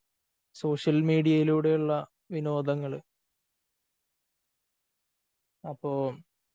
social മീഡിയയിലൂടെയുള്ള വിനോദങ്ങള് അപ്പോ